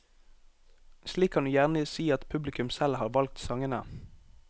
Slik kan du gjerne si at publikum selv har valgt sangene.